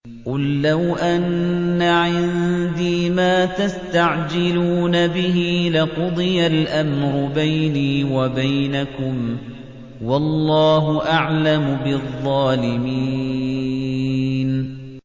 قُل لَّوْ أَنَّ عِندِي مَا تَسْتَعْجِلُونَ بِهِ لَقُضِيَ الْأَمْرُ بَيْنِي وَبَيْنَكُمْ ۗ وَاللَّهُ أَعْلَمُ بِالظَّالِمِينَ